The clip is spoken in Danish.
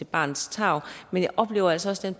barnets tarv men jeg oplever altså også